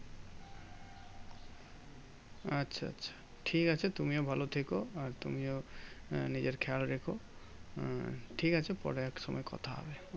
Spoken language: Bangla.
আচ্ছা আচ্ছা ঠিক আছে তুমিও ভালো থেকো। আর তুমিও আহ নিজের খেয়াল রেখো। আহ ঠিক আছে পরে একসঙ্গে কথা হবে।